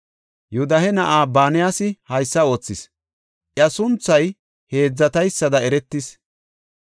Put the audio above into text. Yoodahe na7ay Banayasi haysa oothis; iya sunthay heedzataysada eretis.